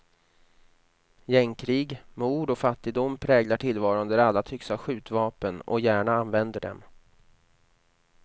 Gängkrig, mord och fattigdom präglar tillvaron där alla tycks ha skjutvapen och gärna använder dem.